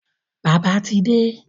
Bàbá ti de